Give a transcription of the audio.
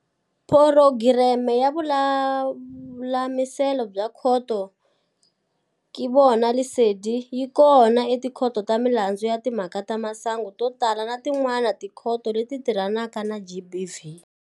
Phurogireme ya Vululamiselo bya Khoto ya Ke Bona Lesedi yi kona eTikhoto ta Milandzu ya Timhaka ta Masangu to tala na tin'wana tikhoto leti tirhanaka na GBV.